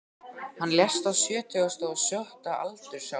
Hann lést á sjötugasta og sjötta aldursári í